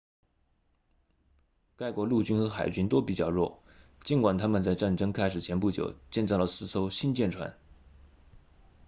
该国陆军和海军都比较弱尽管他们在战争开始前不久建造了四艘新舰船